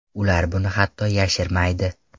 Ular buni hatto yashirmaydi!